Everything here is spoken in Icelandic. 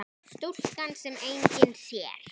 Stúlkan sem enginn sér.